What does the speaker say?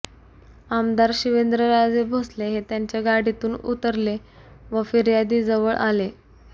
आमदार शिवेंद्रराजे भोसले हे त्यांच्या गाडीतून उतरले व फिर्यादीजवळ आले